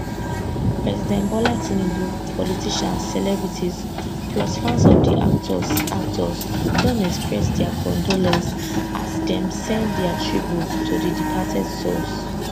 president bola tinubu politicians celebrities plus fans of di actors actors don express dia condolence as dem send dia tribute to di departed souls